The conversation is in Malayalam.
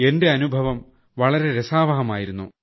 എന്റെ അനുഭവം വളരെ രസാവഹമായിരുന്നു